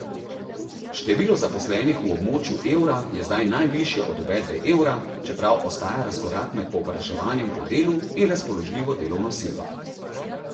Število zaposlenih v območju evra je zdaj najvišje od uvedbe evra, čeprav ostaja razkorak med povpraševanjem po delu in razpoložljivo delovno silo.